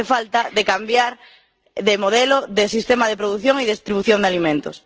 hace falta cambiar de modelo, de sistema de producción y distribución de alimentos.